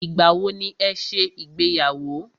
Ìgbà wọ ní ẹ ṣe ìgbéyàwó?